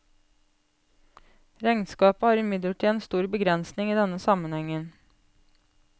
Regnskapet har imidlertid en stor begrensning i denne sammenhengen.